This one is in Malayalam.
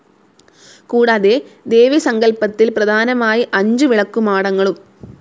കൂടാതെ ദേവി സങ്കൽപ്പത്തിൽ പ്രധാനമായി അഞ്ചു വിളക്കുമാടങ്ങളും.